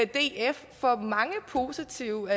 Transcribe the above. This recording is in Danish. df for mange positive